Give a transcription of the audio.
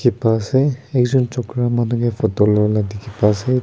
Epa ase ek jun chogra manu ke photo loala dekhi pa ase.